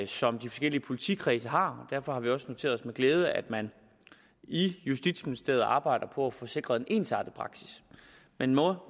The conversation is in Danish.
som de forskellige politikredse har og derfor har vi også noteret os med glæde at man i justitsministeriet arbejder på at få sikret en ensartet praksis man må